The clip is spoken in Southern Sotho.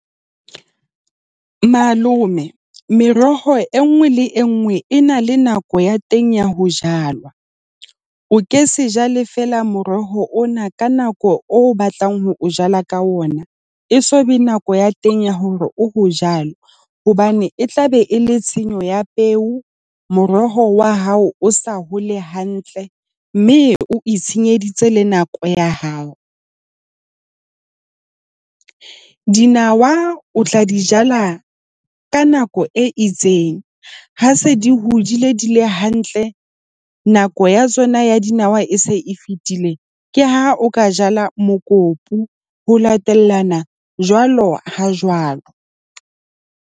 Malome, meroho e nngwe le e nngwe e na le nako ya teng ya ho jalwa. O ke se jale fela moroho ona ka nako o batlang ho o jala ka ona, e so be nako ya teng ya hore o ho jwalo hobane e tlabe e le tshenyo ya peo. Moroho wa hao o sa hole hantle, mme o itshenyeditse le nako ya hao. Dinawa o tla di jala ka nako e itseng, ha se di hodile di le hantle. Nako ya tsona ya dinawa e se e fetile. Ke ha o ka jala mokopu, ho latellana jwalo ha jwalo.